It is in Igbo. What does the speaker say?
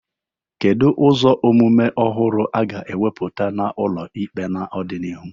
Kedu ụzọ omume ọhụrụ a ga-ewebata n'ụlọ ikpe n'ọdịnihu?